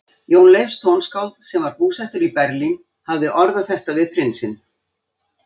Jón Leifs tónskáld, sem var búsettur í Berlín, hafði orðað þetta við prinsinn